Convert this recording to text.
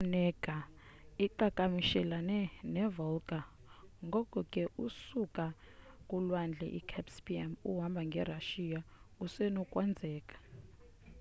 i lake onega iqhakamishelalana ne volga ngoko ke xa usuka kulwandle i caspiam uhamba nge russia kusenokwazeka